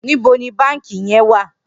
Nibó ni bànkí yèn wà?